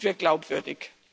Dann sind wir glaubwürdig.